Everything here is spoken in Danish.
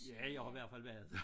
Ja jeg har i hvert fald været